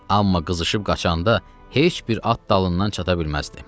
Amma qızışıb qaçanda heç bir at dalından çata bilməzdi.